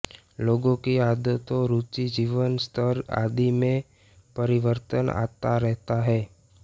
लोगों की आदतों रुचि जीवन स्तर आदि में परिवर्तन आता रहता है